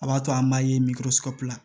A b'a to an b'a ye